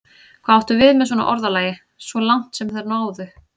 Hvað áttu við með svona orðalagi: svo langt sem þau náðu?